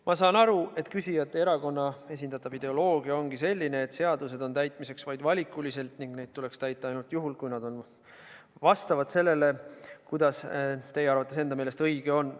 Ma saan aru, et küsijate erakonna esindatav ideoloogia ongi selline, et seadused on täitmiseks vaid valikuliselt ning neid tuleks täita ainult juhul, kui need vastavad sellele, kuidas teie enda arvates õige on.